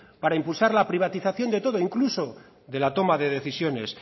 para impulsar la privatización de todo incluso de la toma de decisiones